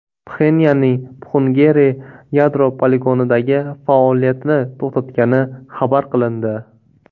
Pxenyanning Pxungeri yadro poligonidagi faoliyatini to‘xtatgani xabar qilindi.